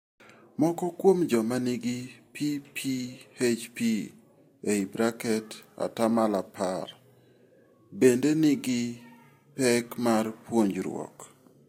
Moko kuom joma nigi PPHP (10%) bende nigi peke mar puonjruok.